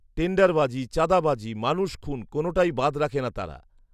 টেন্ডারবাজী, চাঁদাবাজি, মানুষখুন কোনটাই বাদ রাখে না তারা